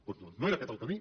doncs no era aquest el camí